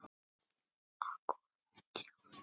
Akkúrat fimmtíu ár.